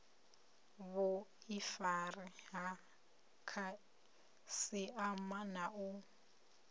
vhuifari ha khasiama na u